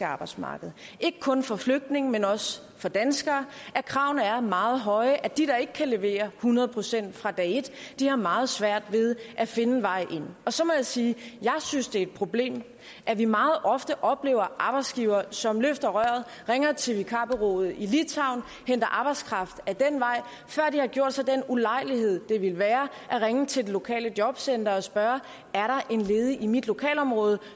arbejdsmarked ikke kun for flygtninge men også for danskere at kravene er meget høje så de der ikke kan levere hundrede procent fra dag et har meget svært ved at finde en vej ind så må jeg sige at jeg synes det er et problem at vi meget ofte oplever arbejdsgivere som løfter røret ringer til vikarbureauet i litauen og henter arbejdskraft ad den vej før de har gjort sig den ulejlighed det ville være at ringe til det lokale jobcenter og spørge er der en ledig i mit lokalområde